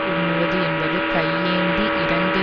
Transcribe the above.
உண்ணுவது என்பது கையேந்தி இரந்து